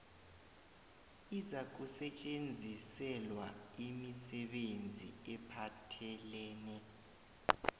izakusetjenziselwa imisebenzi ephathelene